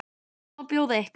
Hvað má bjóða ykkur?